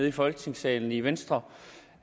i folketingssalen i venstre